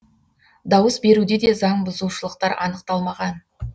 дауыс беруде де заңбұзушылықтар анықталмаған